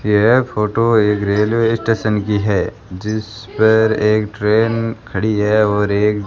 यह फोटो एक railway station की है जिस पर एक ट्रेन खड़ी है और एक --